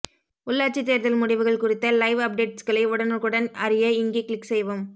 உள்ளாட்சி தேர்தல் முடிவுகள் குறித்த லைவ் அப்டேட்ஸ்களை உடனுக்குடன் அறிய இங்கே க்ளிக் செய்யவும்